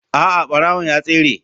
A'a barawon ya tsere.